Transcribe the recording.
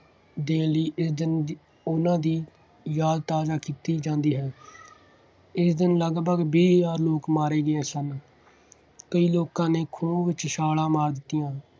ਦੇਣ ਲਈ ਇਸ ਦਿਨ ਉਹਨਾ ਦੀ ਯਾਦ ਤਾਜ਼ਾ ਕੀਤੀ ਜਾਂਦੀ ਹੈ। ਇਸ ਦਿਨ ਲਗਭਗ ਵੀਹ ਹਜ਼ਾਰ ਲੋਕ ਮਾਰੇ ਗਏ ਸਨ। ਕਈ ਲੋਕਾਂ ਨੇ ਖੂਹ ਵਿੱਚ ਛਾਲਾਂ ਮਾਰ ਦਿੱਤੀਆਂ।